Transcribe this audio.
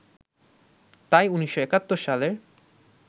তাই ১৯৭১ সালের